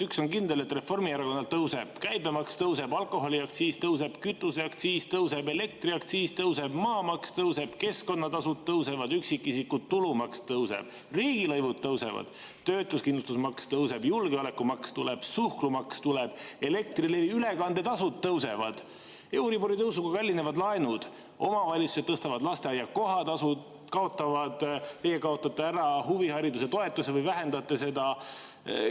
Üks on kindel: Reformierakonnal tõuseb – käibemaks tõuseb, alkoholiaktsiis tõuseb, kütuseaktsiis tõuseb, elektriaktsiis tõuseb, maamaks tõuseb, keskkonnatasud tõusevad, üksikisiku tulumaks tõuseb, riigilõivud tõusevad, töötuskindlustusmakse tõuseb, julgeolekumaks tuleb, suhkrumaks tuleb, Elektrilevi ülekandetasud tõusevad, euribori tõusuga kallinevad laenud, omavalitsused tõstavad lasteaia kohatasu, kaotate ära huvihariduse toetuse või vähendate seda.